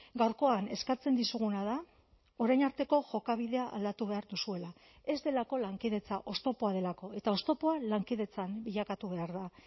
gaurkoan eskatzen dizuguna da orain arteko jokabidea aldatu behar duzuela ez delako lankidetza oztopoa delako eta oztopoa lankidetzan bilakatu behar da